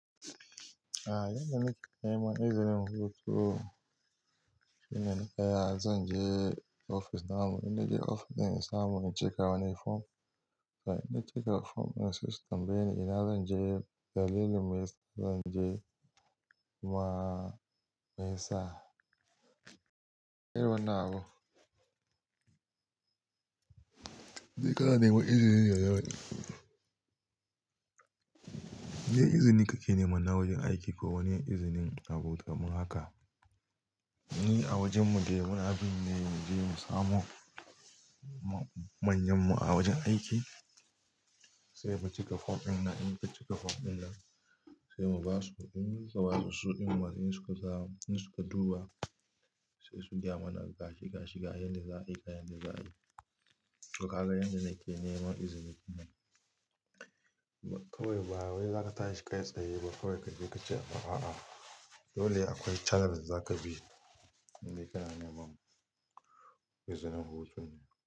Yanda nake neman izinin hutu, yana cike zan je ofis na mu, idan na je ofis din in samu in cika wani form, in na cika form in ce su tambaye ni ina zan je, dalilin meyasa zan je ma me yasa. Irin wannan abun? Me ka na neman izini yanzu? Me izini kake neman na wajen aiki ko wani izinin na bauta? Mu haka, ni a wajen mu dai muna bin ne mu je mu samo manyan mu a wajen aiki sai mu cika form ɗin nan, idan mun cika form ɗin nan sai mu ba su, in muka ba su su din ma in su ka za, in su ka duba sai su gaya mana gashi, gashi ga yan da za a yi, ga yan da za a yi. Ka ga yanda nake neman izini. Kawai ba wai za ka tashi ka yi tsaye ba kawai ka je ka ce a'a, dole akwai channel da za ka bi idai ka na neman izinin hutu.